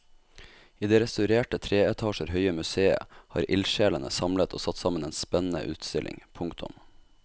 I det restaurerte tre etasjer høye museet har ildsjelene samlet og satt sammen en spennende utstilling. punktum